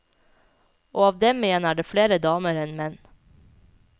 Og av dem igjen er det flere damer enn menn.